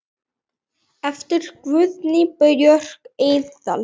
eftir Guðnýju Björk Eydal